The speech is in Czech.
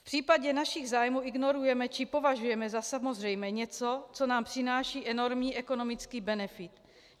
V případě našich zájmů ignorujeme, či považujeme za samozřejmé něco, co nám přináší enormní ekonomický benefit.